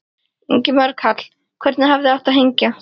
Ingimar Karl: Hvern hefði átt að hengja?